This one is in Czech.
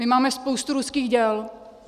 My máme spoustu ruských děl.